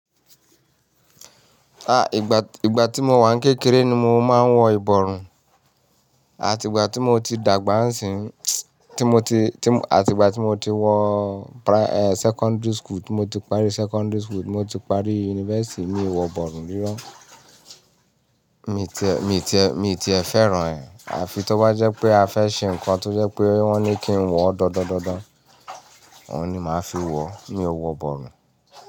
Ìgbà, ìgbà tí mo wà ní kékeré ni mo máa ń wọ ìbọrùn àti ìgbà tí mo ti dàgbà ń sì ń, tí mo ti, tí, àti ìgbà tí mo ti wọ pra-- secondary school, tí mo ti paarí secondary school, tí mo ti paarí university mi ò wọ ìbọrùn rírọ̀. Mi ti ẹ, mi ti ẹ, mi ti ẹ fẹ́ràn ẹ́ àfi tó bá jẹ́ pé a fẹ́ ṣe nǹkan tó jẹ́ pé wọ́n ní kí n wọ ọ́ dan-dan-dan-dan, òun ni màá fi wọ, mi ò wọ ìbọrùn.